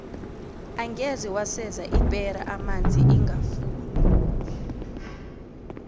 angeze waseza ipera amanzi ingafuni